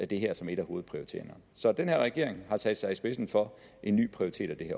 det her som en af hovedprioriteringerne så den her regering har sat sig i spidsen for en ny prioritering